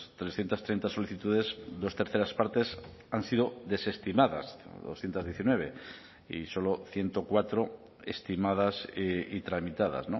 trescientos treinta solicitudes dos terceras partes han sido desestimadas doscientos diecinueve y solo ciento cuatro estimadas y tramitadas